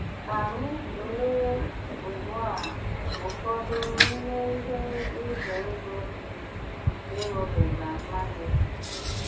Ká ányị́ túlée ùgbù á ụfọdụ n'ime íhé ízé ndú dí́ íṅúbígá mmányá óké.